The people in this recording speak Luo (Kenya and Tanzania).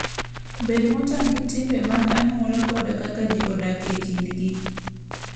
Bed motang' gi timbe mag anyuola koda kaka ji odak e kindgi.